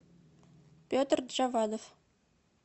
петр джавадов